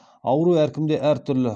ауру әркімде әртүрлі